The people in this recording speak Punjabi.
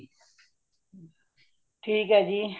ਠੀਕ ਹੇ ਜੀ